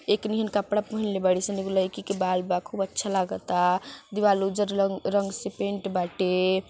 एक नील कपड़ा पहनले बाड़ी सन एगो लड़की के बाल बा खूब अच्छा लगता दिबाल उज्जर लंग रंग से पैंट बाटे।